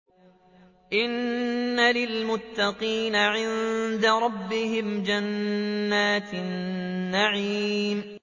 إِنَّ لِلْمُتَّقِينَ عِندَ رَبِّهِمْ جَنَّاتِ النَّعِيمِ